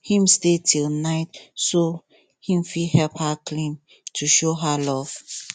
him stay till night so him fit help her clean to show her love